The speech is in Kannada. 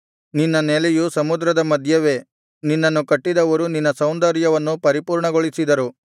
ನಿನ್ನ ನೆಲೆಯು ಸಮುದ್ರದ ಮಧ್ಯವೇ ನಿನ್ನನ್ನು ಕಟ್ಟಿದವರು ನಿನ್ನ ಸೌಂದರ್ಯವನ್ನು ಪರಿಪೂರ್ಣಗೊಳಿಸಿದರು